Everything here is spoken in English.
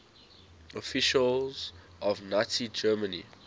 officials of nazi germany